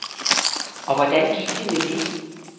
Og hvordan gik det med det?